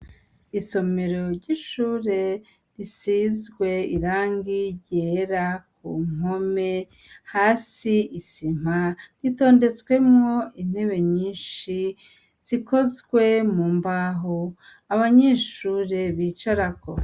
Isomero ry'ishure risizwe irangi ryera ku mpome, hasi isima, ritondetsemwo intebe nyinshi zikozwe mu mbaho, abanyeshure bicarako.